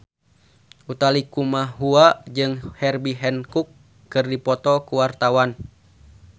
Utha Likumahua jeung Herbie Hancock keur dipoto ku wartawan